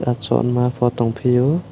achuk ma bo tong fio.